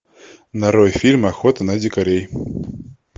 нарой фильм охота на дикарей